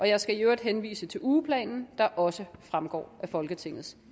jeg skal i øvrigt henvise til ugeplanen der også fremgår af folketingets